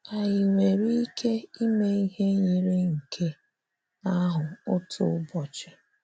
Ànyị nwere ike ịme ihe yiri nke ahụ otu ụbọchị?